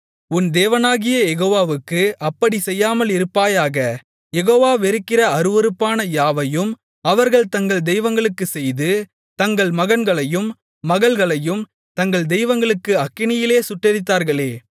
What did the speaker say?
உன் தேவனாகிய யெகோவாவுக்கு அப்படிச் செய்யாமலிருப்பாயாக யெகோவா வெறுக்கிற அருவருப்பான யாவையும் அவர்கள் தங்கள் தெய்வங்களுக்குச் செய்து தங்கள் மகன்களையும் மகள்களையும் தங்கள் தெய்வங்களுக்கு அக்கினியிலே சுட்டெரித்தார்களே